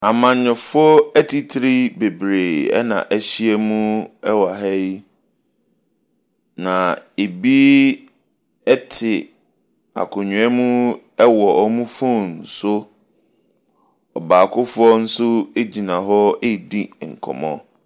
Amanyɔfoɔ atitire bebree na ahyia mu wɔ wɔ ha, na ebi te akonnwa wɔ wɔn phone so. Ɔbaakofoɔ nso gyina hɔ redi nkɔmmɔ.